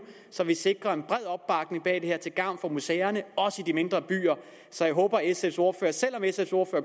så vi sikrer en bred opbakning bag det her til gavn for museerne også i de mindre byer så jeg håber at sfs ordfører selv om sfs ordfører